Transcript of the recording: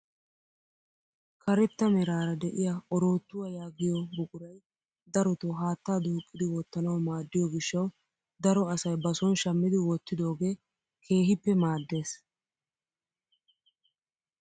Karetta meraara de'iyaa oroottuwaa yaagiyoo buquray darotoo haattaa duuqqidi wottanawu maaddiyoo gishshawu daro asay ba soni shammidi wottidogee keehippe maaddes.